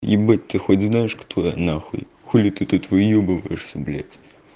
ебать ты хоть знаешь кто я нахуй хули ты тут выёбываешься блядь